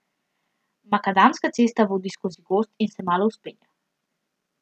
Makadamska cesta vodi skozi gozd in se malo vzpenja.